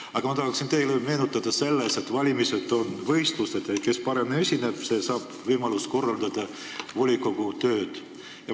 Aga ma tahan teile meenutada, et valimised on võistlused ja kes seal paremini esineb, see saab võimaluse volikogu tööd korraldada.